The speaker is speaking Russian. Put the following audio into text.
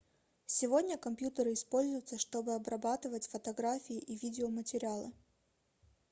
сегодня компьютеры используются чтобы обрабатывать фотографии и видеоматериалы